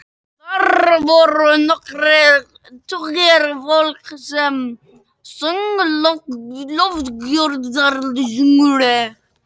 Þar voru nokkrir tugir fólks sem söng lofgjörðarsöngva.